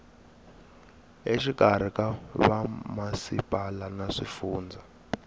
exikarhi ka vamasipala na swifundza